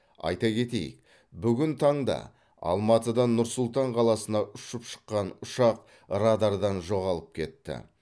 айта кетейік бүгін таңда алматыдан нұр сұлтан қаласына ұшып шыққан ұшақ радардан жоғалып кетті